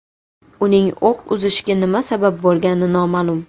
Uning o‘q uzishiga nima sabab bo‘lgani noma’lum.